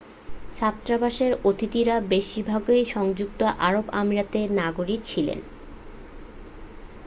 ছাত্রাবাসের অতিথিরা বেশিরভাগই সংযুক্ত আরব আমিরাতের নাগরিক ছিলেন